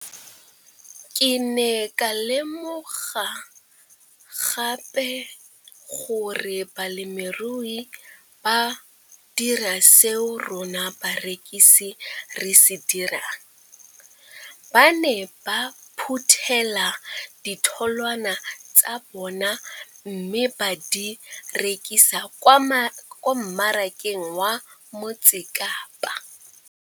Ke ne ka lemoga gape gore balemirui ba dira seo rona barekisi re se dirang ba ne ba phuthela ditholwana tsa bona mme ba di rekisa kwa marakeng wa Motsekapa.